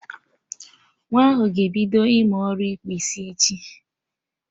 Nwa ahụ ga ebido ịmụ ọrụ ịkpụ isi, echi